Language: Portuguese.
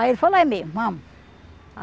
Aí ele falou, é mesmo, vamos.